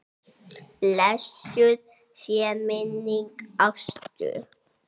Blessuð sé minning Ástu.